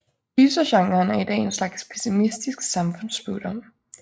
Gysergenren er i dag en slags pessimistisk samfundsspådom